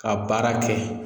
Ka baara kɛ.